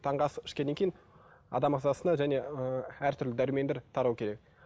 таңғы ас ішкеннен кейін адам ағзасына және ыыы әртүрлі дәрумендер тарау керек